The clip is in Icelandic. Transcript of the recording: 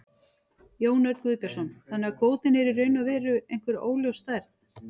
Jón Örn Guðbjartsson: Þannig að kvótinn er í raun og veru einhver óljós stærð?